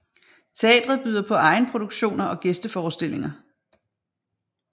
Teatret byder både på egenproduktioner og gæsteforestillinger